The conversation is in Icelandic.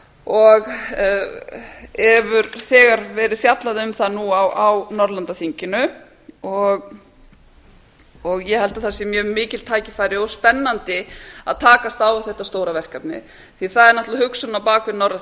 og hefur þegar verið fjallað um það nú á norðurlandaþinginu og ég held að það séu mjög mikil tækifæri og spennandi að takast á við þetta stóra verkefni því það er náttúrlega hugsunin á bak við